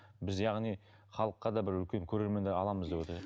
біз яғни халыққа да бір үлкен көрермендер аламыз деп отыр